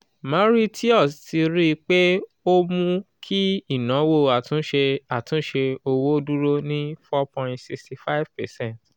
mauritius ti rí i pé ó mú kí ìnáwó àtúnṣe àtúnṣe owó dúró ní 4.65 percent